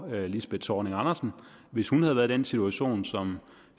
lisbeth zornig andersen hvis hun havde været i den situation som